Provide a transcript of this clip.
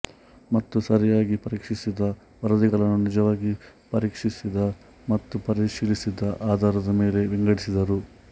ಮತ್ತು ಸರಿಯಾಗಿ ಪರೀಕ್ಷಿಸದ ವರದಿಗಳನ್ನು ನಿಜವಾಗಿ ಪರೀಕ್ಷಿಸಿದ ಮತ್ತು ಪರಿಶೀಲಿಸಿದ ಆಧಾರದ ಮೇಲೆ ವಿಂಗಡಿಸಿದರು